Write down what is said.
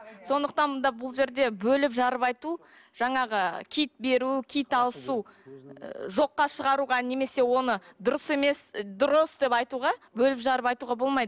сондықтан да бұл жерде бөліп жарып айту жаңағы киіт беру киіт алысу ы жоққа шығаруға немесе оны дұрыс емес дұрыс деп айтуға бөліп жарып айтуға болмайды